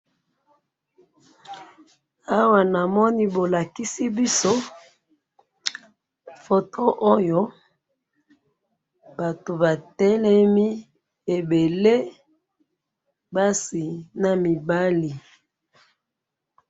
awa namoni bolakisi biso photo oyo. bato batelemi ebele basi na mibali.